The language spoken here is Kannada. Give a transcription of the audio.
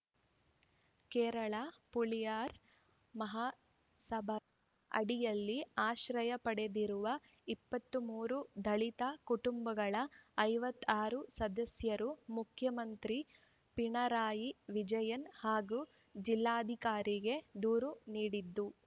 ಕೇರಳ ಪುಲಾಯರ್‌ ಮಹಾಸಭಾ ಅಡಿಯಲ್ಲಿ ಆಶ್ರಯ ಪಡೆದಿರುವ ಇಪ್ಪತ್ತ್ ಮೂರು ದಲಿತ ಕುಟುಂಬಗಳ ಐವತ್ತ್ ಆರು ಸದಸ್ಯರು ಮುಖ್ಯಮಂತ್ರಿ ಪಿಣರಾಯಿ ವಿಜಯನ್‌ ಹಾಗೂ ಜಿಲ್ಲಾಧಿಕಾರಿಗೆ ದೂರು ನೀಡಿದ್ದು